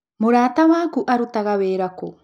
Mũrata waku arutaga wĩra kũ?